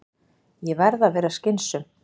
Ég verð að vera skynsöm.